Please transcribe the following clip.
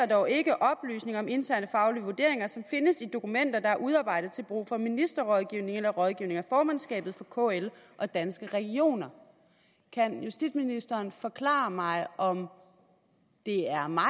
dog ikke oplysninger om interne faglige vurderinger som findes i dokumenter der er udarbejdet til brug for ministerrådgivning eller rådgivning af formandskabet for kl og danske regioner kan justitsministeren forklare mig om det er mig